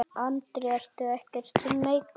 Andri: Ertu ekkert smeykur?